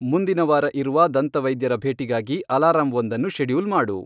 ಮುಂದಿನ ವಾರ ಇರುವ ದಂತವೈದ್ಯರ ಭೇಟಿಗಾಗಿ ಅಲಾರಂವೊಂದನ್ನು ಶೆಡ್ಯೂಲ್ ಮಾಡು